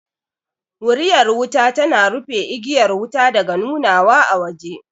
Wuriyar wuta tana rufe igiyar wuta daga nunawa a waje